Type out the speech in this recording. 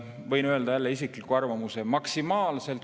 Võin öelda jälle isikliku arvamuse.